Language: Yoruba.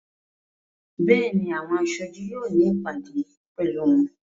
Béèni, àwọn aṣojú yóò ní ìpàdé pẹ̀lú wọn.